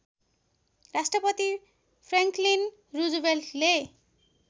Rashtrapati Franklin रूजवेल्टले